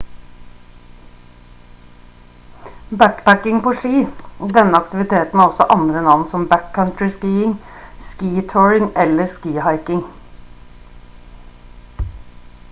backpacking på ski denne aktiviteten har også andre navn som backcountry skiing ski touring eller ski hiking